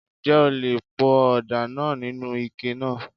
Ǹjẹ́ o le po ọ̀dà náà nínú ike náà?